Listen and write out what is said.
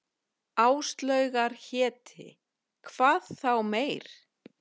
Áslaugar héti, hvað þá meir.